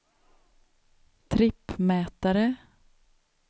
trippmätare